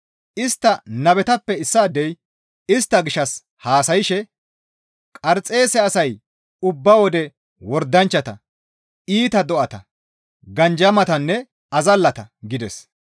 Istta nabetappe issaadey istta gishshas haasayshe, «Qarxeese asay ubba wode wordanchchata, iita do7ata, ganjamatanne azallata» gides.